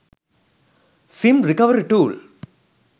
sim recovery tool